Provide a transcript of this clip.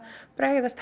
bregðast